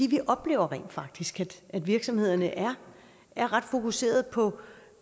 vi oplever rent faktisk at virksomhederne er er ret fokuserede på